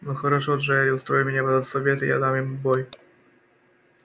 ну хорошо джаэль устрой меня в этот совет и я дам ему бой